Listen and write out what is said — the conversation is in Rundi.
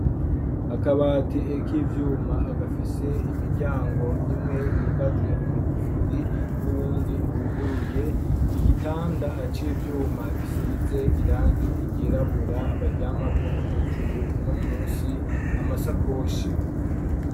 Akabati eko ivyuma agafise imiryango imwe yugaje amagufuri n'uwundi iwuguruye igitanda aco ivyuma gisize irange igirabura baryamako hejuru uno musi amasa koshi.